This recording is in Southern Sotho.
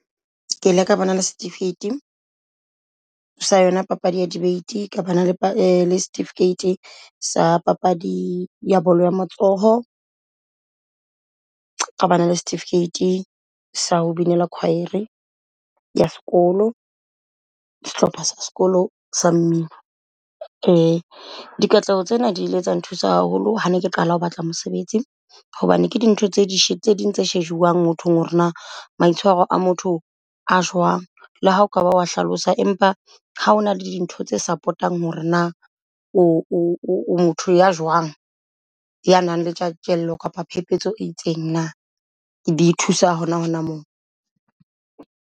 Ke ile ka bana le setifikeiti sa elyona papadi ya debate, ka bana le setifikeiti sa papadi ya bolo ya matsoho, ka bana le setifikeiti sa ho binela choir-re ya sekolo sehlopha sekolo sa mmino. Di katleho tsena dile tsa nthusa haholo ha ne ke qala ho batla mosebetsi hobane ke dintho tse ding tse shejuwang mothong hore na maitshwaro a motho a jwang. Le ha o kaba wa hlalosa empa ha hona le dintho tse support-ang hore na o motho ya jwang ya nang le tjantjello kapa phepetso e itseng na. Di thusa hona hona moo.